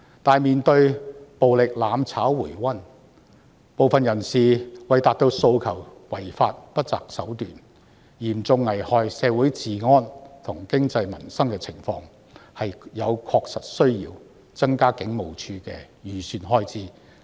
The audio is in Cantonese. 可是，面對暴力"攬炒"回溫，部分人士為達致訴求而違法及不擇手段，以致嚴重危害社會治安、經濟及民生的情況，確實有需要增加警務處的預算開支。